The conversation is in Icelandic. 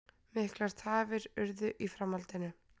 Miklar tafir urðu í framhaldinu